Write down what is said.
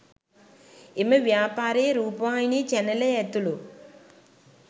එම ව්‍යාපාරයේ රූපවාහිනී චැනලය ඇතුළු